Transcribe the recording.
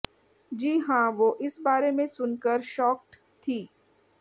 जी हाँ वो इस बारे में सुनकर शौकड थीं